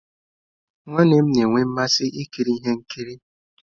Nwanne nnem na-enwe mmasị ikiri ihe nkiri.